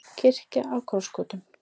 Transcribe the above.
Kirkja á krossgötum